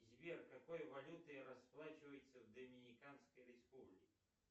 сбер какой валютой расплачиваются в доминиканской республике